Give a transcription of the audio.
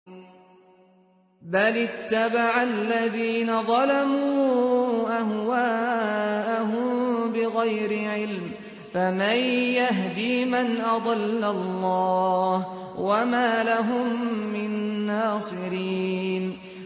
بَلِ اتَّبَعَ الَّذِينَ ظَلَمُوا أَهْوَاءَهُم بِغَيْرِ عِلْمٍ ۖ فَمَن يَهْدِي مَنْ أَضَلَّ اللَّهُ ۖ وَمَا لَهُم مِّن نَّاصِرِينَ